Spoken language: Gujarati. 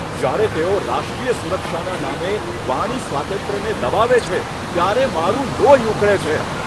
જ્યારે તેઓ રાષ્ટ્રીય સુરક્ષાના નામે વાણી સ્વાતંત્ર્યને દબાવે છે ત્યારે મારું લોહી ઉકળે છે.